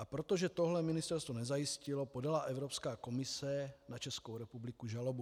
A protože tohle ministerstvo nezajistilo, podala Evropská komise na Českou republiku žalobu.